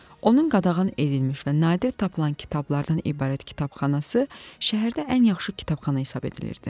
Onun qadağan edilmiş və nadir tapılan kitablardan ibarət kitabxanası şəhərdə ən yaxşı kitabxana hesab edilirdi.